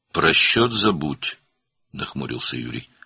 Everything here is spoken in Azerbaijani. "Hesabı unut!" - Yuri qaşqabağını tökdü.